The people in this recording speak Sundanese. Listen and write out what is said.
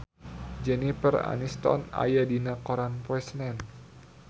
Jennifer Aniston aya dina koran poe Senen